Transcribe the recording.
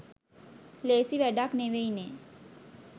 ලේසි වැඩක් නෙවෙයි නේ